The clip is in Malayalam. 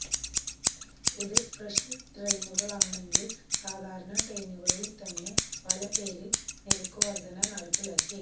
ഇത് സ്പെഷ്യല് ട്രെയിനുകളാണെങ്കില് സാധാരണ ട്രെയിനുകളില്ത്തന്നെ പലപേരില് നിരക്കുവര്ധന നടപ്പാക്കി